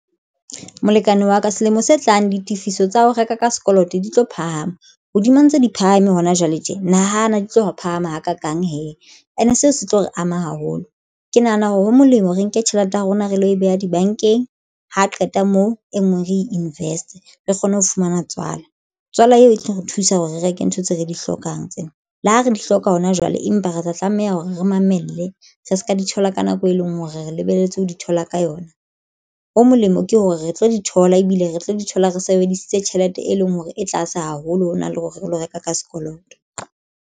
Molekane wa ka selemo se tlang ditifiso tsa ho reka ka sekoloto di tlo phahama hodima ntse di phahame hona jwale tje nahana di tlo phahama hakakang he ene seo se tlo re ama haholo ke nahana hore ho molemo re nke tjhelete ya rona re lo e beha dibankeng. Ha qeta moo e nngwe re invest-e re kgone ho fumana tswala tswala eo e tlo re thusa hore re reke ntho tse re di hlokang tsena le ho re di hloka hona jwale, empa re tla tlameha hore re mamele. Re se ka di thola ka nako e leng hore re re lebelletse ho di thola ka yona. Ho molemo ke hore re tlo di thola ebile re tlo di thola re sebedisitse tjhelete e leng hore e tlase haholo hona le hore re lo reka ka sekoloto.